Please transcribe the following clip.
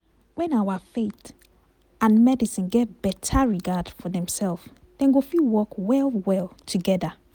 when our faith and medicine get beta regard for demself dem go fit work well well together.